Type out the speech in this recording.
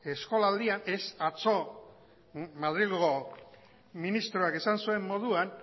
eskolaldian ez atzo madrilgo ministroak esan zuen moduan